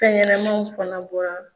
Fɛnyɛnamanw fana bɔra.